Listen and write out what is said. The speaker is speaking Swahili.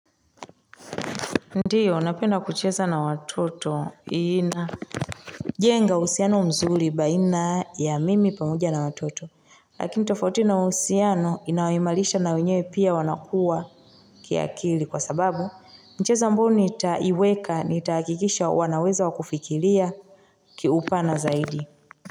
Ndiyo, napenda kucheza na watoto ina jenga husiano mzuri baina ya mimi pamoja na watoto. Lakini tofauti na husiano, inawaimalisha na wenyewe pia wanakuwa kiakili, kwa sababu. Michezo ambayo nitaiweka nitakikisha wanaweza wakufikilia kiupana zaidi.